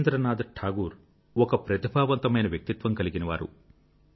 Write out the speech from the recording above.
రవీంద్రనాథ్ ఒక ప్రతిభావంతుడైన వ్యక్తిత్వం కలిగినవారు